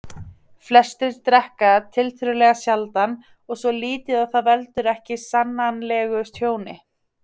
Flestir drekka tiltölulega sjaldan og svo lítið að það veldur ekki sannanlegu tjóni.